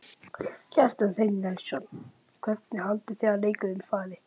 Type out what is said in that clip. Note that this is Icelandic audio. Kjartan Hreinn Njálsson: Hvernig haldið þið að leikurinn fari?